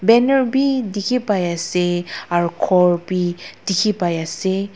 Ener beh dekhe pai ase aro khor beh dekhe pai ase.